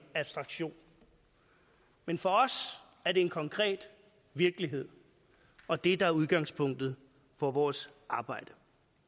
abstraktion men for os er det en konkret virkelighed og det der er udgangspunktet for vores arbejde